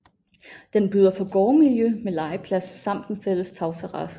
Den byder på gårdmiljø med legeplads samt en fælles tagterrasse